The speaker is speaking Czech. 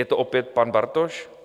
Je to opět pan Bartoš?